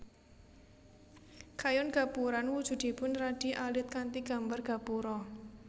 Kayon Gapuran wujudipun radi alit kanthi gambar gapura